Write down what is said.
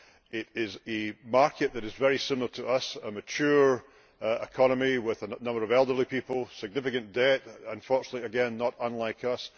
It is a market that is very similar to ours, a mature economy with a number of elderly people, significant debt, unfortunately again not unlike us.